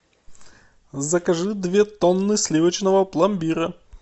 закажи две тонны сливочного пломбира